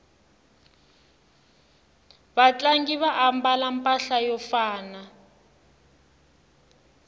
vatlangi va ambala mpahla yo fana